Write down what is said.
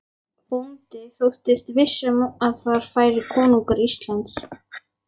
Bóndi þóttist viss um að þar færi konungur Íslands.